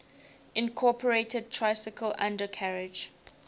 incorporated tricycle undercarriage